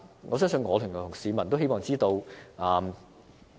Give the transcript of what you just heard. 我相信我及市民也會希望知道。